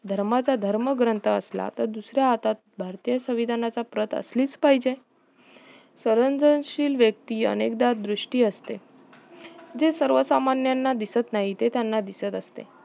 धर्माचा धर्म ग्रंथ असला तर दुसऱ्या हातात भारतीय संविधानाचा प्रत असलीच पाहिजे सर्जनशील व्यक्ती अनेकदा दुष्टी असते जी सर्व सामान्यना दिसत नाही ते त्यांना दिसत असते